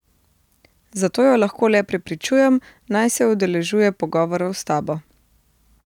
Zato jo lahko le prepričujem, naj se udeležuje pogovorov s tabo.